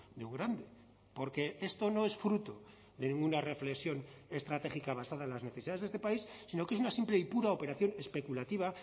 de un grande porque esto no es fruto de ninguna reflexión estratégica basada en las necesidades de este país sino que es una simple y pura operación especulativa